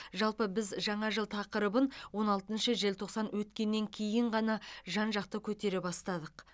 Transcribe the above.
жалпы біз жаңа жыл тақырыбын оне алтыншы желтоқсан өткеннен кейін ғана жан жақты көтере бастадық